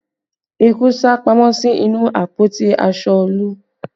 Eku sá pamọ́ sí inú àpótí aṣọ Olu